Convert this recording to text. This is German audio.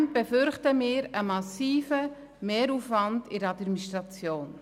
Zudem befürchten wir einen massiven Mehraufwand in der Administration.